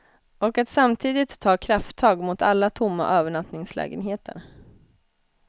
Och att samtidigt ta krafttag mot alla tomma övernattningslägenheter.